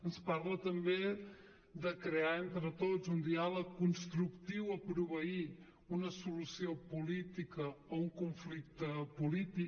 ens parla també de crear entre tots un diàleg constructiu a proveir una solució política a un conflicte polític